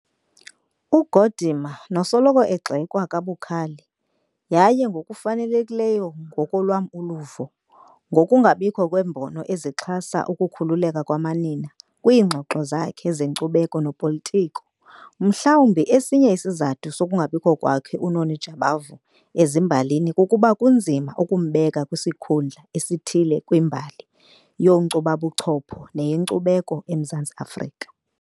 UGordimer nosoloko egxekwa kabukhali, yaye ngokufanelekileyo ngokwelam uluvo, ngokungabikho kweembono ezixhasa ukukhululeka kwamanina kwiingxoxo zakhe zenkcubeko nopolitiko. Mhlawumbi esinye isizathu sokungabikho kwakhe uNoni Jabavu ezimbalini kukuba kunzima ukumbeka kwisikhundla esithile kwimbali yobunkcubabuchopho neyenkcubeko eMzantsi Afrika.